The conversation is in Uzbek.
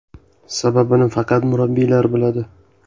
Sababini faqat murabbiylar biladi.